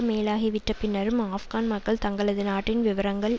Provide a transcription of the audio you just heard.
மேலாகிவிட்ட பின்னரும் ஆப்கான் மக்கள் தங்களது நாட்டின் விவகாரங்கள்